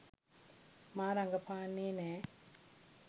මා රඟපාන්නේ නෑ.